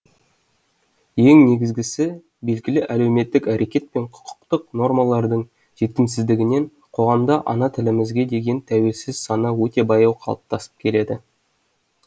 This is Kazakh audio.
ең негізгісі белгілі әлеуметтік әрекет пен құқықтық нормалардың жетімсіздігінен қоғамда ана тілімізге деген тәуелсіз сана өте баяу қалыптасып келеді